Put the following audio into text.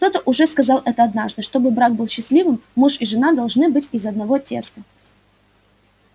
кто-то уже сказал это однажды чтобы брак был счастливым муж и жена должны быть из одного теста